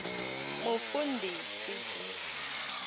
mufundhisi